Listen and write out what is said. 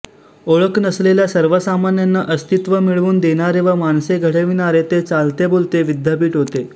ओळख नसलेल्या सर्वसामान्यांना अस्तित्व मिळवून देणारे व माणसे घडविणारे ते चालते बोलते विद्यापीठ होते